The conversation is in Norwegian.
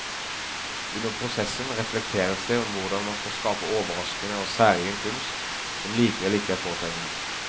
Under prosessen reflekteres det om hvordan man skal skape overraskende og særegen kunst, som likevel ikke er påtrengende.